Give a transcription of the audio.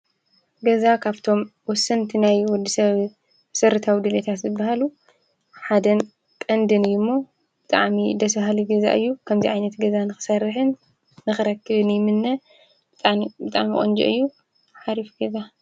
ገዛ ካብቶም ወሰንቲ ናይ ወዲ ሰብ መሰረታዊ ድሌታት ዝባሃሉ ሓደን ቀንድን እዩ ሞ ብጣዕሚ ደስ በሃሊ ገዛ እዩ፡፡ ከምዚ ዓይነት ንኽሰርሕን ንኽረክብን ይምነ ብጣዕሚ ቆንጆ እዩ ሓሪፍ ገዛ፡፡